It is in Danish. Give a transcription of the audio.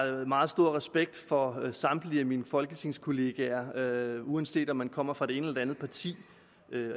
meget stor respekt for samtlige af mine folketingskollegaer uanset om de kommer fra det ene eller andet parti